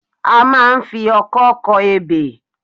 A máa ń fi ọkọ́ kọ ebè